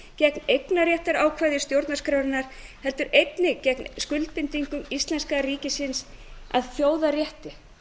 gegn eignarréttarákvæði stjórnarskrárinnar heldur einnig gegn skuldbindingu íslenska ríkisins að þjóðarrétti